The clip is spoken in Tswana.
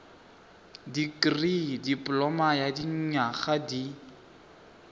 dikirii dipoloma ya dinyaga di